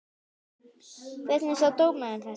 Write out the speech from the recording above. Hvernig sá dómarinn þetta?